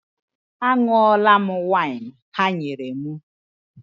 A ṅụọla m waịn ha nyere m.